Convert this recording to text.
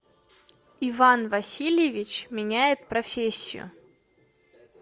иван васильевич меняет профессию